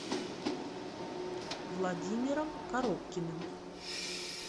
владимиром коробкиным